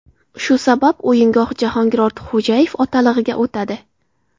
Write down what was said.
Shu sabab o‘yingoh Jahongir Ortiqxo‘jayev otalig‘iga o‘tadi.